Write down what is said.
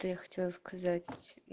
то я хотела сказать